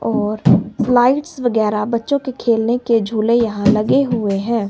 और लाइट्स वगैरह बच्चों के खेलने के झूले यहां लगे हुए हैं।